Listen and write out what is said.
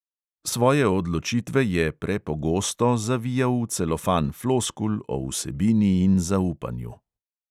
Svoje odločitve je (pre)pogosto zavijal v celofan floskul o vsebini in zaupanju.